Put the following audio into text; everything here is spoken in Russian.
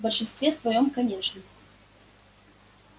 в большинстве своём конечно